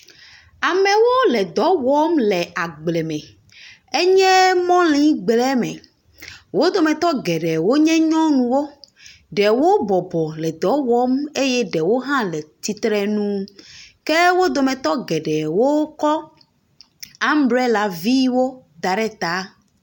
Amewo le dɔ wɔm le agbleme. Enye mɔligble me. Wo dometɔ geɖee wonye nyɔnuwo. Ɖewo bɔbɔ le dɔ wɔm eye ɖewo hã le tsirenu. Ke wo dometɔ geɖewo kɔ ambrelaviwo da ɖe ta.